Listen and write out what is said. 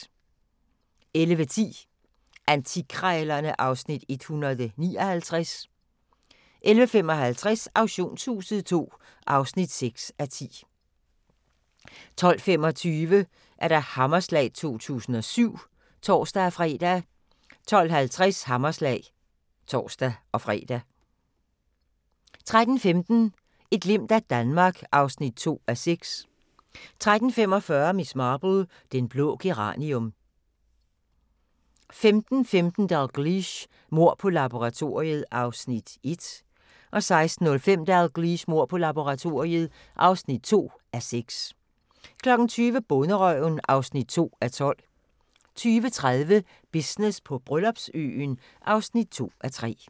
11:10: Antikkrejlerne (Afs. 159) 11:55: Auktionshuset II (6:10) 12:25: Hammerslag 2007 (tor-fre) 12:50: Hammerslag (tor-fre) 13:15: Et glimt af Danmark (2:6) 13:45: Miss Marple: Den blå geranium 15:15: Dalgliesh: Mord på laboratoriet (1:6) 16:05: Dalgliesh: Mord på laboratoriet (2:6) 20:00: Bonderøven (2:12) 20:30: Business på Bryllupsøen (2:3)